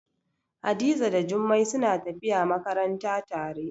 Hadiza da Jummai suna tafiya makaranta tare.